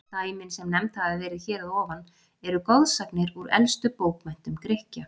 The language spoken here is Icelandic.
Dæmin, sem nefnd hafa verið hér að ofan, eru goðsagnir úr elstu bókmenntum Grikkja.